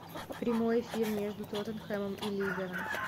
прямой эфир между тоттенхэмом и ливером